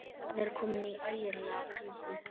Hann er kominn í ægilega klípu.